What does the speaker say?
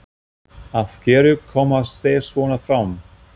Af hverju koma þeir svona fram?